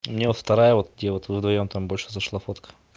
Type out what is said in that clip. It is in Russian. мне вот вторая вот где вот вы вдвоём там больше зашла фото